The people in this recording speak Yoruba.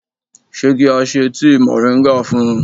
Ṣé kí á se tíì mòríńgà fun?